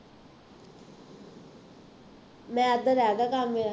math ਦਾ ਰਹਿੰਦਾ ਕੰਮ ਮੇਰਾ